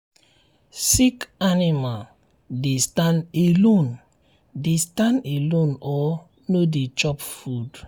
sick animal dey stand alone dey stand alone or no dey chop food.